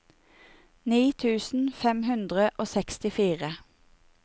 ni tusen fem hundre og sekstifire